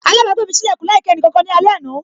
Alabagbe mi sí lekun láì kí ẹnì kankan ní alẹ àná.